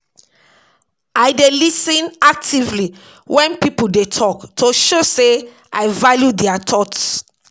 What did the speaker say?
I dey lis ten actively wen people dey talk to show sey I value dia thoughts.